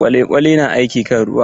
Kwale-kwale na aiki kan ruwa.